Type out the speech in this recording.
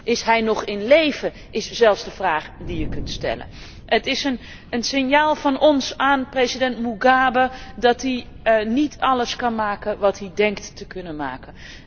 Is hij nog in leven is zelfs de vraag die je kunt stellen. Het is een signaal van ons aan president Mugabe dat hij niet alles kan maken wat hij denkt te kunnen maken.